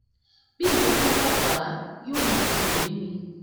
bí nǹkankan bá bà á yóò máa dùn mí ni